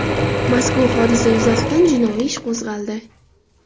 Mazkur hodisa yuzasidan jinoiy ish qo‘zg‘aldi.